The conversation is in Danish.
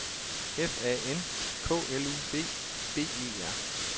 F A N K L U B B E R